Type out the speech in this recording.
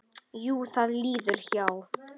Jú, það líður hjá.